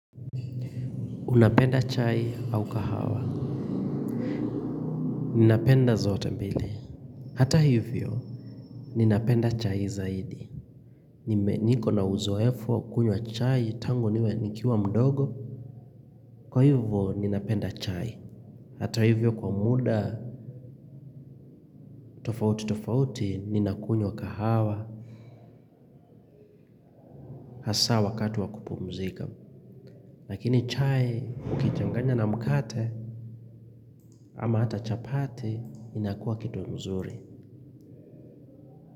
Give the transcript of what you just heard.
Unapenda chai au kahawa? Ninapenda zote mbili. Hata hivyo, ninapenda chai zaidi. Niko na uzoefu wa kukunywa chai tangu nikiwa mdogo. Kwa hivyo, ninapenda chai. Hata hivyo kwa muda, tofauti tofauti, ninakunywa kahawa. Hasa wakati wa kupumzika. Lakini chai, ukichanganya na mkate, ama hata chapati, inakuwa kitu mzuri.